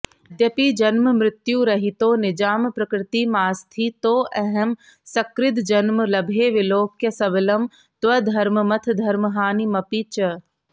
यद्यपि जन्ममृत्युरहितो निजां प्रकृतिमास्थितोऽहमसकृद्जन्म लभे विलोक्य सबलं त्वधर्ममथ धर्महानिमपि च